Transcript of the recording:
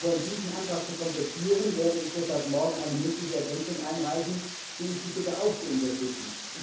Aber um diesen Antrag zu komplettieren, werde ich morgen eine mündliche Ergänzung einreichen, die ich Sie bitte, auch zu unterstützen.